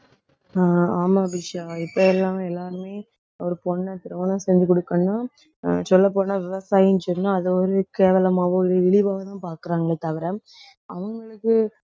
ஆஹ் ஆமா அபிஷா இப்போ எல்லாமே, எல்லாருமே ஒரு பொண்ணை திருமணம் செஞ்சு கொடுக்கணும்னா சொல்லப்போனா விவசாயி சொன்னா அதை ஒரு கேவலமாவோ ஒரு இழிவாவோதான் பார்க்கிறாங்களே தவிர அவங்களுக்கு